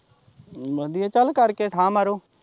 ਵਧੀਆ, ਚੱਲ ਕਰਕੇ ਠਾ ਮਾਰੋ।